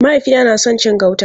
Mahaifina na son cin gauta.